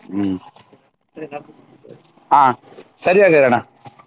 ಹ್ಮ್ ಹಾ ಸರಿ ಹಾಗಾದ್ರೆ ಅಣ್ಣ.